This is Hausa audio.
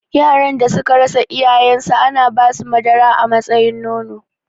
Yaran da suka rasa iyayen su ana basu madara a matsayin nono